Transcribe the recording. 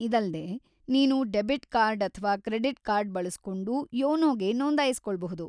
ಇದಲ್ದೇ ನೀನು debit card ಅಥವಾ credit card ಬಳಸ್ಕೊಂಡೂ ಯೋನೋಗೆ ನೋಂದಾಯಿಸ್ಕೊಳ್ಬಹುದು.